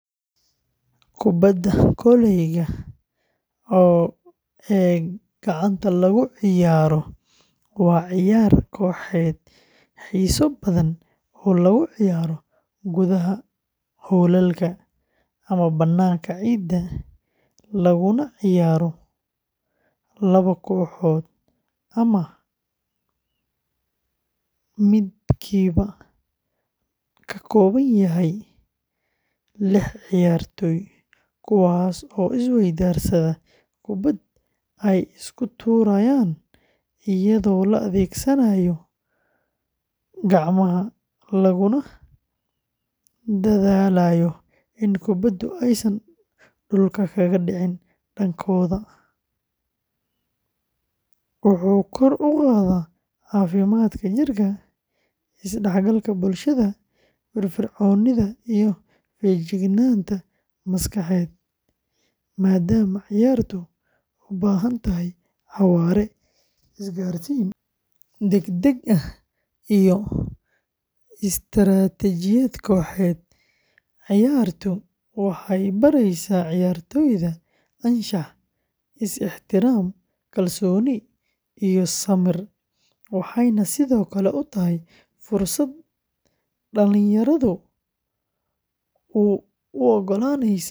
Kubadda kolayga ee gacanta lagu ciyaaro, waa ciyaar kooxeed xiiso badan oo lagu ciyaaro gudaha hoolalka ama bannaanka ciidda leh, laguna ciyaaro laba kooxood oo midkiiba ka kooban yahay lix ciyaartoy, kuwaas oo is-weydaarsada kubbad ay isku tuurayaan iyadoo la adeegsanayo gacmaha, laguna dadaalayo in kubbadu aysan dhulka kaga dhicin dhankooda; wuxuu kor u qaadaa caafimaadka jirka, is-dhexgalka bulshada, firfircoonida, iyo feejignaanta maskaxeed, maadaama ciyaartu u baahan tahay xawaare, isgaarsiin degdeg ah, iyo istaraatiijiyad kooxeed; ciyaartu waxay baraysaa ciyaartoyda anshax, is-ixtiraam, kalsooni iyo samir, waxayna sidoo kale u tahay fursad dhalinyarada u oggolaanaysa.